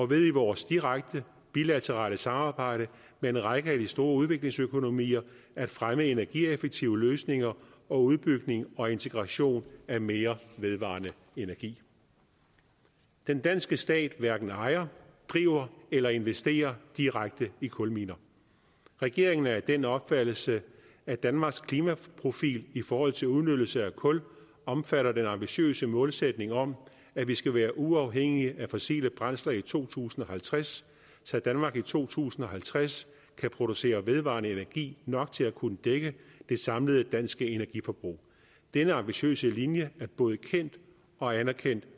ved i vores direkte bilaterale samarbejde med en række af de store udviklingsøkonomier at fremme energieffektive løsninger og udbygning og integration af mere vedvarende energi den danske stat hverken ejer driver eller investerer direkte i kulminer regeringen er af den opfattelse at danmarks klimaprofil i forhold til udnyttelse af kul omfatter den ambitiøse målsætning om at vi skal være uafhængige af fossile brændsler i to tusind og halvtreds så danmark i to tusind og halvtreds kan producere vedvarende energi nok til at kunne dække det samlede danske energiforbrug denne ambitiøse linje er både kendt og anerkendt